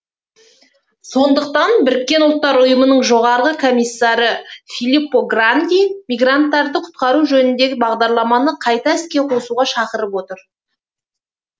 сондықтан біріккен ұлттар ұйымының жоғарғы комиссары филиппо гранди мигранттарды құтқару жөніндегі бағдарламаны қайта іске қосуға шақырып отыр